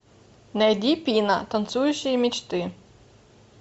найди пина танцующие мечты